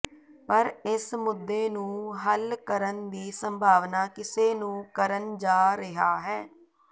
ਪਰ ਇਸ ਮੁੱਦੇ ਨੂੰ ਹੱਲ ਕਰਨ ਦੀ ਸੰਭਾਵਨਾ ਕਿਸੇ ਨੂੰ ਕਰਨ ਜਾ ਰਿਹਾ ਹੈ